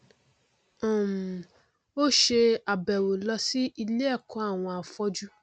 um ó ṣe àbẹwò ló sí iléẹkọ àwọn afọjú